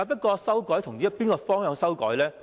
然而，從哪個方向作出修改呢？